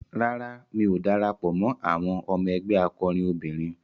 Rárá, mi ò darapọ̀ mọ́ àwọn ẹgbé akọrin obìnrin.